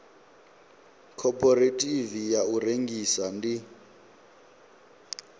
khophorethivi ya u rengisa ndi